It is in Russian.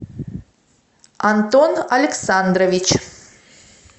антон александрович